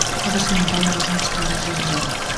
қазір соның дайындық жұмыстары жүріп жатыр